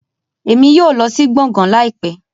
Emi yóò lọ si gboôgan laipẹ